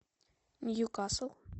ньюкасл